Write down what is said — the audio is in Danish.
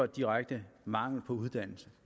direkte mangel på uddannelse